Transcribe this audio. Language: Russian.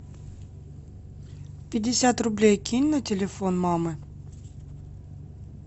пятьдесят рублей кинь на телефон мамы